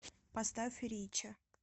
поставь рича